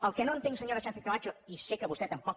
el que no entenc senyora sánchez camacho i sé que vostè tampoc